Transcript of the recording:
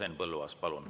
Henn Põlluaas, palun!